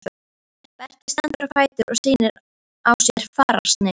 Berti stendur á fætur og sýnir á sér fararsnið.